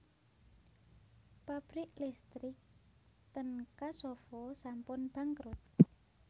Pabrik listrik ten Kosovo sampun bangkrut